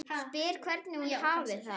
Spyr hvernig hún hafi það.